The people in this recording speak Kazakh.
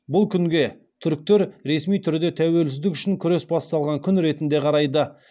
бұл күнге түріктер ресми түрде тәуелсіздік үшін күрес басталған күн ретінде қарайды